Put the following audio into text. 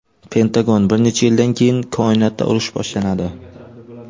Pentagon: bir necha yildan keyin koinotda urush boshlanadi.